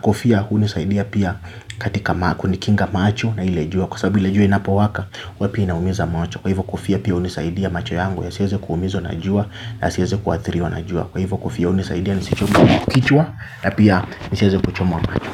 kofia hunisaidia pia katika makuu, ni kinga macho na ile jua kwa sababu ile jua inapowaka, huwa pia inaumiza macho. Kwa hivyo kofia pia hunisaidia macho yangu, yasiweze kuumizwa na jua na yasiweze kuathiriwa na jua. Kwa hivyo kofia inanisaidia, nisichomeke kichwa na pia, nisiweze kuchomwa macho.